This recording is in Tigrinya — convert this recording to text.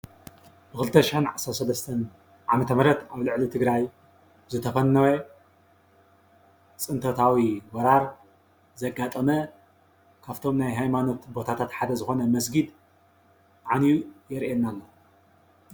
ብ 2013 ዓ/ም ኣብ ልዕሊ ትግራይ ዝተፈነወ ፅንተታዊ ወራር ዘጋጠመ ካብቶም ናይ ሃይማኖታት ቦታታት ሓደ ዝኾነ መስጊድ ዓንዩ የርእየና።